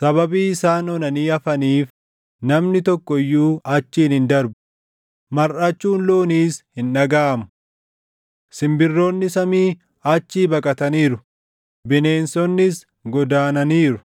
Sababii isaan onanii hafaniif namni tokko iyyuu achiin hin darbu; marʼachuun looniis hin dhagaʼamu. Simbirroonni samii achii baqataniiru; bineensonnis godaananiiru.